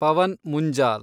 Pavan Munjal